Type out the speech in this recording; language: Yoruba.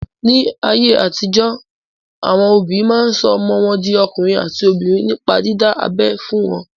Ní ayé àtijọ́, àwọn òbí máa sọ ọmọ wọn di ọkùnrin àti obìnrin nípa dídá abẹ́ fún wọn.